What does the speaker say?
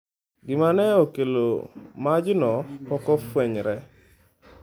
Gima ne okelo majno pok ofwenyore.